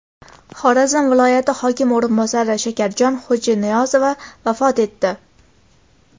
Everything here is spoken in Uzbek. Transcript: Xorazm viloyati hokimi o‘rinbosari Shakarjon Xo‘janiyozova vafot etdi.